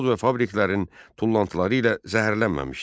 Zavod və fabriklərin tullantıları ilə zəhərlənməmişdi.